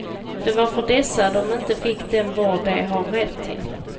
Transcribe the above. Det var för dessa de inte fick den vård de har rätt till.